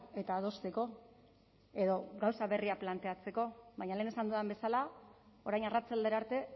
eta adosteko edo gauza berriak planteatzeko baina lehen esan dudan bezala orain arratsaldera arte